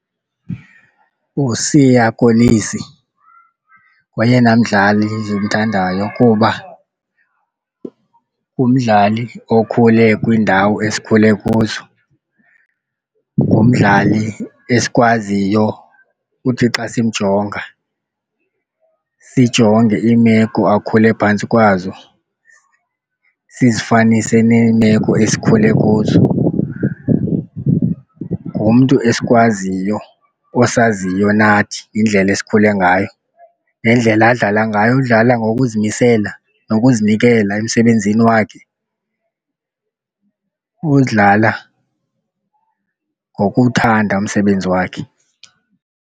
USiya Kolisi ngoyena mdlali ndimthandayo kuba ngumdlali okhule kwiindawo esikhule kuzo, ngumdlali esikwaziyo uthi xa simjonga sijonge iimeko akhule phantsi kwazo sizifanise neemeko esikhule kuzo. Ngumntu esikwaziyo, osaziyo nathi indlela esikhule ngayo nendlela adlala ngayo. Udlala ngokuzimisela nokuzinikela emsebenzini wakhe, uwudlala ngokuthanda umsebenzi wakhe.